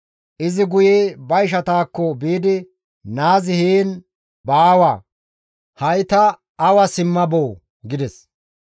Izi guye ba ishataakko biidi, «Naazi heen baawa; ha7i ta awa simma boo!» gides.